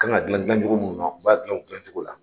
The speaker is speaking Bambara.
Kan ka dunan dilan cogo min na u b'a dilan o dilan cogo la.